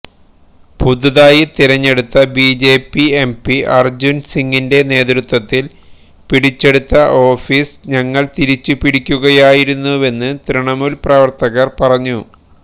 പുതുതായി തിരഞ്ഞെടുത്ത BJP MP Arjun സിങിന്റെ നേതൃത്വത്തില് പിടിച്ചെടുത്ത ഓഫീസ് ഞങ്ങള് തിരിച്ച് പിടിക്കുകയായിരുന്നുവെന്ന് തൃണമൂല് പ്രവര്ത്തകര് പറഞ്ഞു